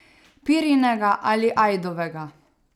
Pirinega ali ajdovega.